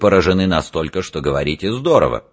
поражены настолько что говорите здорово